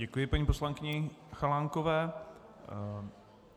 Děkuji paní poslankyni Chalánkové.